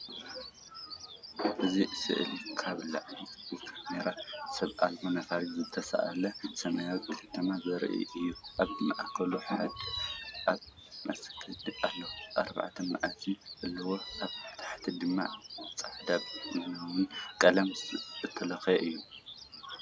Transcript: እዚ ስእሊ ካብ ላዕሊ ብካሜራ ሰብ ኣልቦ ነፋሪት ዝተሳእለ ሰማይ ከተማ ዘርኢ እዩ። ኣብ ማእከል ሓደ ዓቢ መስጊድ ኣሎ፣ ኣርባዕተ ሚናራት ዘለዎ፣ ኣብ ታሕቲ ድማ ጻዕዳን ቡናዊን ቀለም ዝተለኽየ እዩ። ።